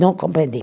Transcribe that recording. Não compreendi.